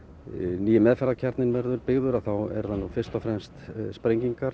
nýi meðferðarkjarninn verður byggður þá eru það fyrst og fremst sprengingar